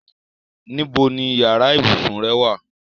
Níbo ni yàrá ibùsùn rẹ wà?